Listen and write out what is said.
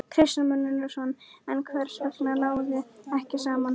Kristján Már Unnarsson: En hvers vegna náðist ekki saman?